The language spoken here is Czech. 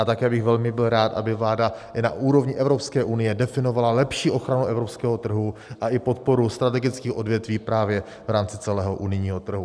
A také bych byl velmi rád, aby vláda i na úrovni Evropské unie definovala lepší ochranu evropského trhu a i podporu strategických odvětví právě v rámci celého unijního trhu.